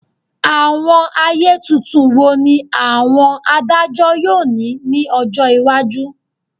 Awọn aye tuntun wo ni awọn adajọ yoo ni ni ọjọ iwaju?